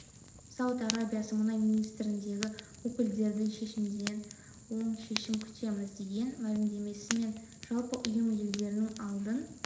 сауд арабиясы мұнай министрдігі өкілдерінің шешімінен оң шешім күтеміз деген мәлімдемесі мен жалпы ұйым елдерінің алдын